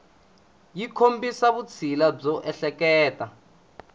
yi kombisa vutshila byo ehleketa